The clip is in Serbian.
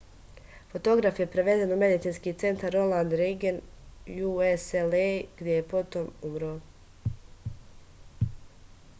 fotograf je prevezen u medicinski centar ronald reagan ucla gde je potom umro